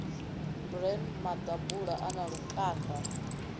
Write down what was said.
bran maḓabula a na lukanda